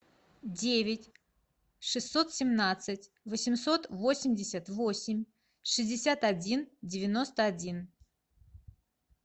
девять шестьсот семнадцать восемьсот восемьдесят восемь шестьдесят один девяносто один